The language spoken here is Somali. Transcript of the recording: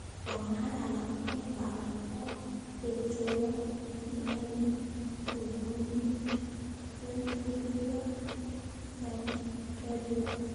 Waa maxay calaamadaha iyo calaamadaha Catecholaminergic polymorphic ventricular tachycardia?